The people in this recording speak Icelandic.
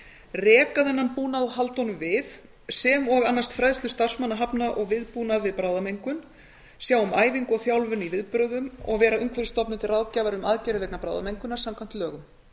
reka þennan búnað og halda honum við sem og annast fræðslu starfsmanna hafna og viðbúnað við bráðamengun sjá um æfingu og þjálfun í viðbrögðum og vera umhverfisstofnun til ráðgjafar um aðgerðir vegna bráðamengunar samkvæmt lögum